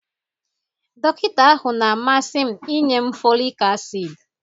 Dọkịta ahụ na-amasị m inye m folic acid